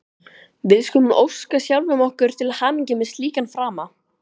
Við skulum óska sjálfum okkur til hamingju með slíkan frama!